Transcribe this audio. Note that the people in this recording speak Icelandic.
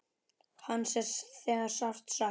Hans er þegar sárt saknað.